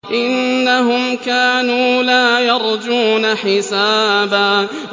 إِنَّهُمْ كَانُوا لَا يَرْجُونَ حِسَابًا